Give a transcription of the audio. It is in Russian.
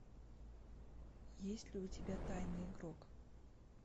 есть ли у тебя тайный игрок